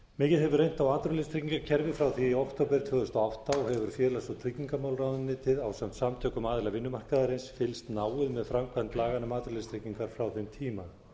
mikið hefur reynt á atvinnuleysistryggingakerfið frá því í október tvö þúsund og átta og hefur félags og tryggingamálaráðuneytið ásamt samtökum aðila vinnumarkaðarins fylgst náið með framkvæmd laganna um atvinnuleysistryggingar frá þeim tíma